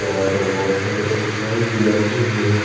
यहा पर बोहोत सारे एम्प्लोय भी बेठे हुए है।